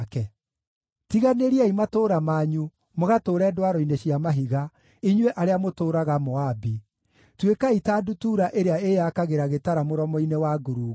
Tiganĩriai matũũra manyu mũgatũũre ndwaro-inĩ cia mahiga, inyuĩ arĩa mũtũũraga Moabi. Tuĩkai ta ndutura ĩrĩa ĩyakagĩra gĩtara mũromo-inĩ wa ngurunga.